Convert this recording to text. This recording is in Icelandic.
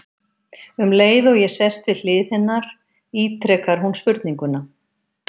Um leið og ég sest við hlið hennar ítrekar hún spurninguna.